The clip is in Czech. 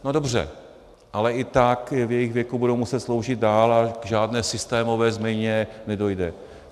No dobře, ale i tak ve svém věku budou muset sloužit dál a k žádné systémové změně nedojde.